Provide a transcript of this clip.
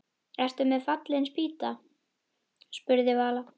Ertu með í Fallin spýta? spurði Vala.